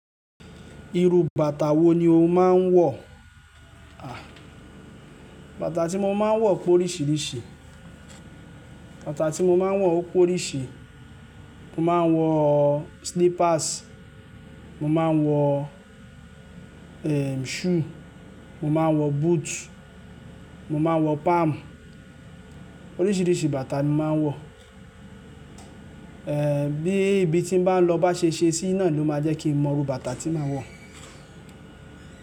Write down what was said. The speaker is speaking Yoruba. Iru bàtà wo ni o máa ń wọ? À, bàtà tí mo máa ń wọ pé oríṣiríṣi, bàtà tí mo máa ń wọ ó pé oríṣi. Mo máa ń wọ slippers, mo máa ń wọ, eh, shoe, mo máa ń wọ boot, mo máa ń wọ palm. Oríṣiríṣi bàtà ni mo máa ń wọ. Eh, bí ibi tí n bá lọ bá ṣe ṣe síi náà ló máa jẹ́ kí mo mọ irú bàtà tí màá wọ.